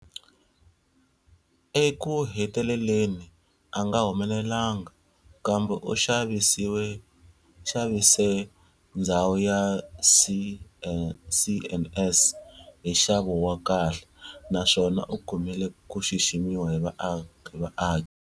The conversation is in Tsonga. Eku heteleleni anga humelelanga, kambe u xavise ndzhawu ya CandS hi nxavo wa kahle, naswona u kumile ku xiximiwa hi vaaki.